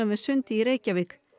við Sund í Reykjavík